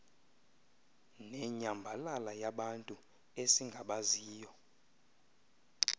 nenyambalala yabantu esingabaziyo